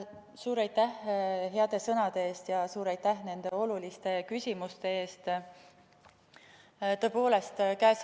Suur aitäh heade sõnade eest ja suur aitäh nende oluliste küsimuste eest!